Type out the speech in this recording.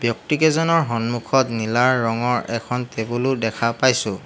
ব্যক্তিকেইজনৰ সন্মূখত নীলা ৰঙৰ এখন টেবুলো দেখা পাইছোঁ।